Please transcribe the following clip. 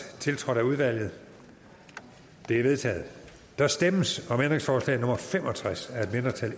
tiltrådt af udvalget det er vedtaget der stemmes om ændringsforslag nummer fem og tres af et mindretal